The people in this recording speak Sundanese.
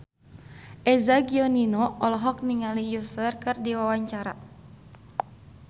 Eza Gionino olohok ningali Usher keur diwawancara